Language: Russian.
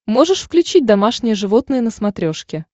можешь включить домашние животные на смотрешке